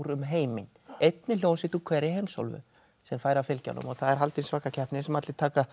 heiminn einni hljómsveit úr hverri heimsálfu sem fær að fylgja honum það er haldin svaka keppni sem allir taka